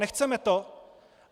Nechceme to?